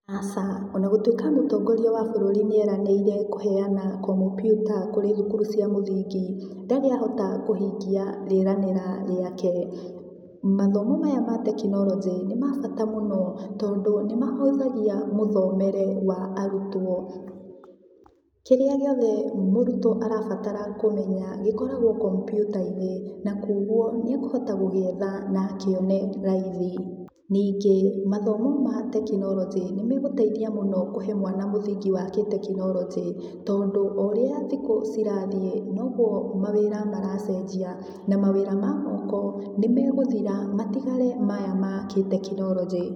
Acha, ona gũtuĩka mũtongoria wa bũrũri nĩ eranĩire kũheana kompiuta kũrĩ thukuru cia mũthingi ndari ahota kũhingia rĩeranĩra rĩake. Mathomo maya ma tekinoronjĩ nĩ mabata mũno tondũ nĩ mahũthagia mũthomere wa arutuo. Kĩrĩa gĩothe mũrutwo arabatara kũmenya gĩkoragwo kompiuta-inĩ na kwoguo nĩekũhota gũgĩetha na akĩone raithi ningĩ mathomo ma tekinoronjĩ nĩmegũteithia mũno kũhe mwana mũthingi wa kĩtekinoronjĩ tondũ o ũrĩa thikũ citathiĩ noguo mawĩra maracenjia na mawĩra ma moko nĩ megũthira matigare maya ma kĩtekinoronjĩ